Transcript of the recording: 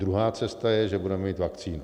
Druhá cesta je, že budeme mít vakcínu.